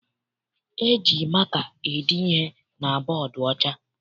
E ji maka ede ihe na bọdu ọcha.